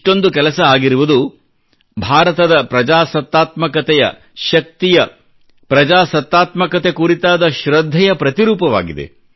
ಇಷ್ಟೊಂದು ಕೆಲಸ ಆಗಿರುವುದು ಭಾರತದ ಪ್ರಜಾಸತ್ತಾತ್ಮಕತೆಯ ಶಕ್ತಿಯ ಪ್ರಜಾಸತ್ತಾತ್ಮಕತೆ ಕುರಿತಾದ ಶೃದ್ಧೆಯ ಪ್ರತಿರೂಪವಾಗಿದೆ